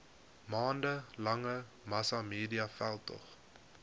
maande lange massamediaveldtog